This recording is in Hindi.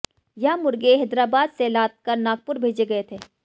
यह मुर्गे हैदराबाद से लादकर नागपुर भेजे गए थे